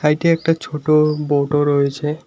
সাইডে একটা ছোটো বোর্ডও রয়েছে।